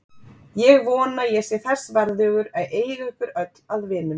Ég vona ég sé þess verðugur að eiga ykkur öll að vinum.